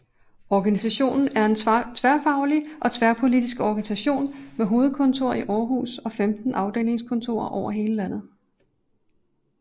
Organisationen er en tværfaglig og tværpolitisk organisation med hovedkontor i Aarhus og 15 afdelingskontorer over hele landet